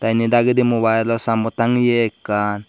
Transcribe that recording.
indi dagedi mobile o sayenbod tangeyi ekkan.